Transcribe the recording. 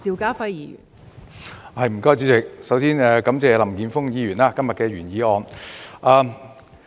代理主席，首先感謝林健鋒議員今天的原議案。